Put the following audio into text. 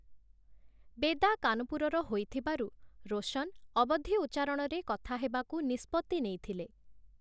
ବେଦା' କାନପୁରର ହୋଇଥିବାରୁ ରୋଶନ 'ଅବଧୀ' ଉଚ୍ଚାରଣରେ କଥା ହେବାକୁ ନିଷ୍ପତ୍ତି ନେଇଥିଲେ ।